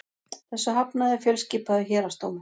Þessu hafnaði fjölskipaður héraðsdómur